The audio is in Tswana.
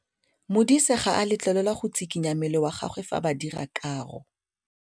Modise ga a letlelelwa go tshikinya mmele wa gagwe fa ba dira karô.